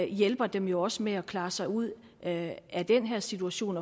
hjælper dem jo også med at klare sig ud af den her situation